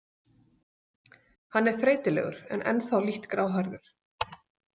Hann er þreytulegur en ennþá lítt gráhærður.